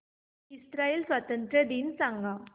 Israel स्वातंत्र्य दिन सांग